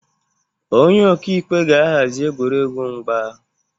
Onye ọka ikpe ga-ahazi egwuregwu mgba